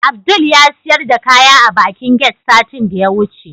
Abdul yasiyar da kaya a bakin get satin da yawuce